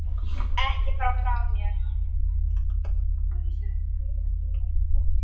Ekki fara frá mér!